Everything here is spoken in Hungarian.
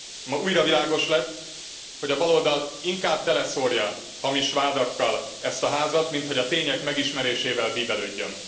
Ma újra világos lett, hogy a baloldal inkább teleszórja hamis vádakkal ezt a Házat, mint hogy a tények megismerésével bíbelődjön.